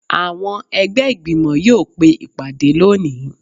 Awọn ẹgbẹ igbimọ yóò pe ìpadé loní